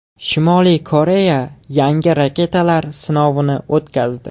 Shimoliy Koreya yangi raketalar sinovini o‘tkazdi.